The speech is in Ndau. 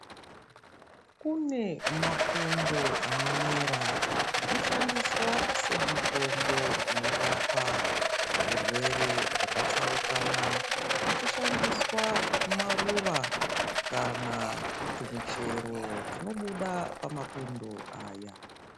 Kune mapundo animera anshandiswa semutombo inorapa zvirwere zvakatsaukana kuchishandiswa maruva kana tumichero tunobuda pamapundo aya.